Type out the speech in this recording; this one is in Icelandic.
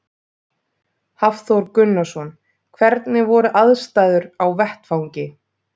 Hafþór Gunnarsson: Hvernig voru aðstæður á vettvangi?